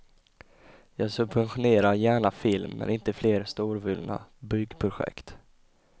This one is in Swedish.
Jag subventionerar gärna film men inte fler storvulna byggprojekt.